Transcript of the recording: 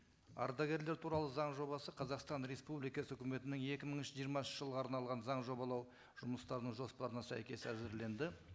ардагерлер туралы заң жобасы қазақстан республикасы өкіметінің екі мың жиырмасыншы жылға арналған заң жобалау жұмыстарының жоспарына сәйкес әзірленді